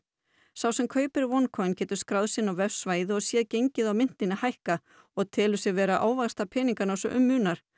sá sem kaupi OneCoin getur skráð sig inn á vefsvæði og sér gengið á myntinni hækka og telur sig vera að ávaxta peningana svo um munar